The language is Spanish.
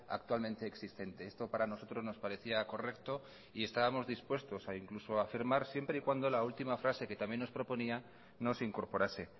actualmente existente esto para nosotros nos parecía correcto y estamos dispuestos a incluso firmar siempre y cuando la última frase que también nos proponía no se incorporase